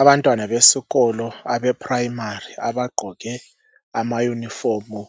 Abantwana besikolo abeprimary abagqoke ama unifomu